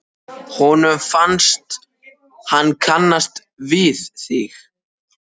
Honum fannst hann kannast við þig.